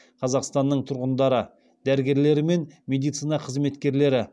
қазақстанның тұрғындары дәрігерлері мен медицина қызметкерлері